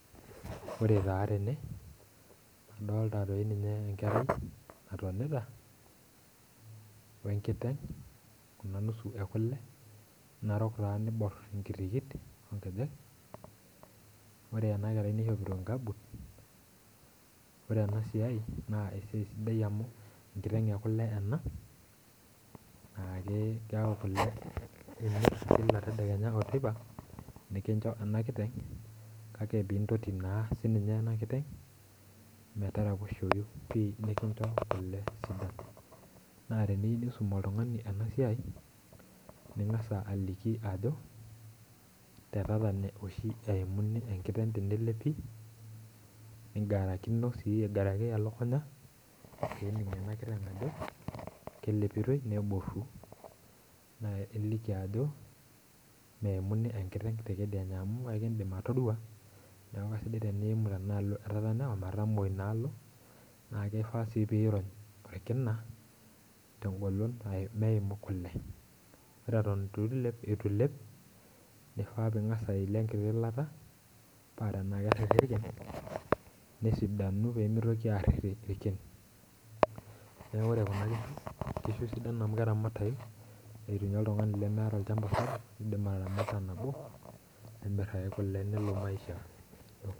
Ore taa tene adolita dii ninye enkerai naatonita, we nusu e kule, narok taa naibor inkitikitik inkejek ore ena kerai naishopoto nkabit, ore ena siai naa esiai sidai amu, enkiteng' ekule ena naa ilep Kila tedekenya o teipa ena kiteng kaka pee intoti naa sii ninye ena kiteng',metaraposhoyu pii. nikincho kule. naa teniyieu nisum oltungani ena siai ningas aliki, ajo tetatene oshi eimuni, enkiteng' tenelepi ningarakino sii aigaraki elukunya. ore enkiteng' keyiolou ajo kelepitoi neboru, naa iliki ajo meimuni enkiteng' te kedianye amu ekeidim atorua. neeku esidai tenelimuni tenaalo e tatene amu etamoo teina alo. naa kifaa sii pee irony orkina te golon. meimu kulie. ore Eton eitu ilep, nifaa pee ingas ayelie enkiti ilata, paa tenaa keriri irkin. nesidanu pee mitoki aaririu irkin. neeku ore Kuna kishu sidan amu keramatayu. oltungani lemeeta. iidim ataramata nabo nimir ake kule nelo maisha dukuya.